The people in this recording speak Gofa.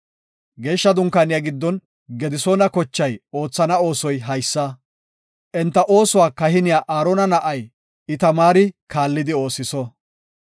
Geeshsha Dunkaaniya giddon Gedisoona kochay oothana oosoy haysa. Enta oosuwa kahiniya Aarona na7ay Itamaari kaallidi oosiso.